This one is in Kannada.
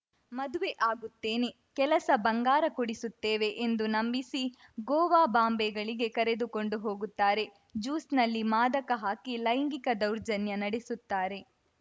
ಮದುವೆ ಆಗುತ್ತೇನೆ ಕೆಲಸ ಬಂಗಾರ ಕೊಡಿಸುತ್ತೇವೆ ಎಂದು ನಂಬಿಸಿ ಗೋವಾ ಬಾಂಬೆಗಳಗೆ ಕರೆದುಕೊಂಡು ಹೋಗುತ್ತಾರೆ ಜ್ಯೂಸ್‌ನಲ್ಲಿ ಮಾದಕ ಹಾಕಿ ಲೈಂಗಿಕ ದೌರ್ಜನ್ಯ ನಡೆಸುತ್ತಾರೆ